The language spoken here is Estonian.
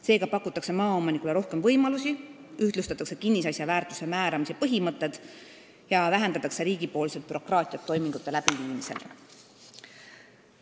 Seega pakutakse maaomanikule rohkem võimalusi, ühtlustatakse kinnisasja väärtuse määramise põhimõtted ja vähendatakse riigipoolset bürokraatiat toimingute tegemisel.